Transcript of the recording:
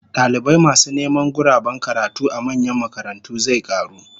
Dalibai masu neman guraben karatu a manyan makarantu zai karu